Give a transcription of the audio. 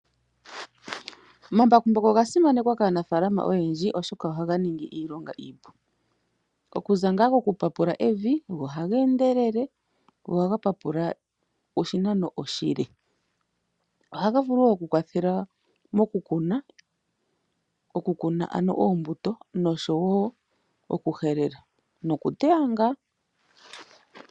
Omambakumbaku oga simanekwa kaanafalama oyendji, oshoka ohaga ningi iilonga iipu okuza nga kokupapula evi go ohaga endelele go ohaga papula oshinano oshile. Ohaga vulu oku kwathele mokukuna oombuto, oshowo oku helela nokuteya nga.